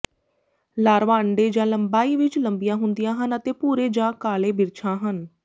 larva ਅੰਡੇ ਜਾਂ ਲੰਬਾਈ ਵਿੱਚ ਲੰਬੀਆਂ ਹੁੰਦੀਆਂ ਹਨ ਅਤੇ ਭੂਰੇ ਜਾਂ ਕਾਲੇ ਬਿਰਛਾਂ ਹਨ